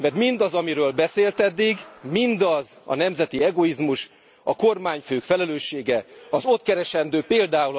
Mert mindaz, amiről beszélt eddig, mindaz a nemzeti egoizmus, a kormányfők felelőssége az ott keresendő pl.